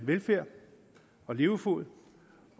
velfærd og levefod